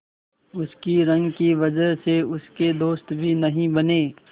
उसकी रंग की वजह से उसके दोस्त भी नहीं बने